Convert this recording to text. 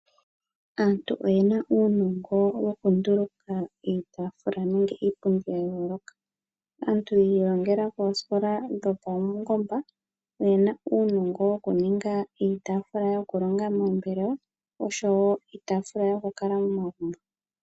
Aantu oyena uunongo woku nduluka iitaafula nenge iipundi ya yooloka. Aantu yi ilongela koosikola dhopaungomba oyena uunongo woku ninga iitaafula yoku longa moombelewa oshowo iitafula yoku kala momagumbo.